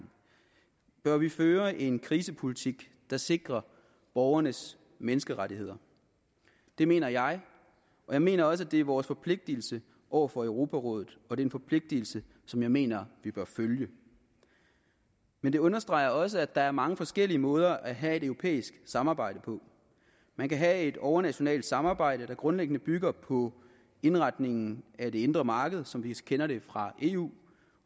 bør vi føre en krisepolitik der sikrer borgernes menneskerettigheder det mener jeg og jeg mener også at det er vores forpligtelse over for europarådet og det er en forpligtigelse som jeg mener vi bør følge men det understreger også at der er mange forskellige måder at have et europæisk samarbejde på man kan have et overnationalt samarbejde der grundlæggende bygger på indretningen af det indre marked som vi kender det fra eu og